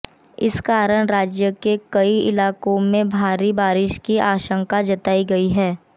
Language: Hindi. इस कारण राज्य के कई इलाकों में भारी बारिश की आशंका जताई गई है